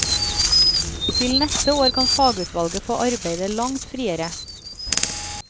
Til neste år kan fagutvalget få arbeide langt friere.